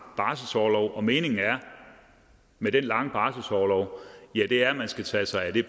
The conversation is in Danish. barselsorlov og meningen med den lange barselsorlov er at man skal tage sig af det